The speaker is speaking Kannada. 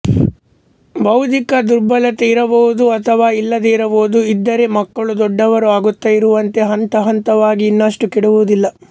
ಬೌದ್ಧಿಕ ದುರ್ಬಲತೆ ಇರಬಹುದು ಅಥವಾ ಇಲ್ಲದೆ ಇರಬಹುದು ಇದ್ದರೆ ಮಕ್ಕಳು ದೊಡ್ಡವರು ಆಗುತ್ತಾ ಇರುವಂತೆ ಹಂತಹಂತವಾಗಿ ಇನ್ನಷ್ಟು ಕೆಡುವುದಿಲ್ಲ